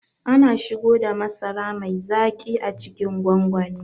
Ana shigoda masara mai zaƙi a cikin gwangwani